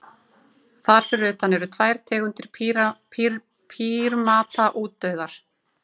Þar fyrir utan eru tvær tegundir prímata útdauðar.